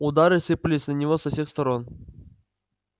удары сыпались на него со всех сторон